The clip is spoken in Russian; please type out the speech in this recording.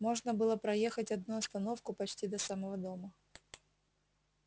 можно было проехать одну остановку почти до самого дома